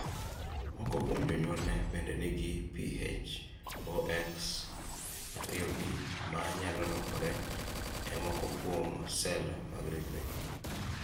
Moko kuom jonyuolne bende nigi PHOX2B ma nyalo lokore e moko kuom sel mag ringregi.